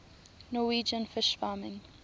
norwegian fish farming